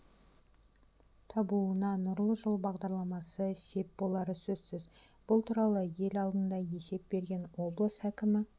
табуына нұрлы жол бағдарламасы сеп болары сөзсіз бұл туралы ел алдында есеп берген облыс әкімі